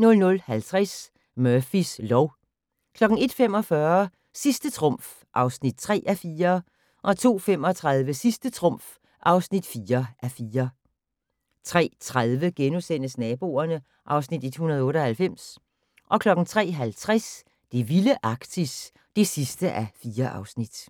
00:50: Murphys lov 01:45: Sidste trumf (3:4) 02:35: Sidste trumf (4:4) 03:30: Naboerne (Afs. 198)* 03:50: Det vilde Arktis (4:4)